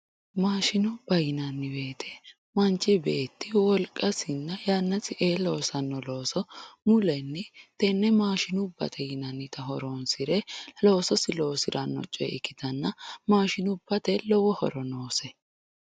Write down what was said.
maashinubba yinanni woyiite manch beetti wolqasinna yannasi ee loosanno looso mulenni tenne maashinubate yineemota horonsire loososi loosiranno choye ikkitanna maashinubbate lowo horo noose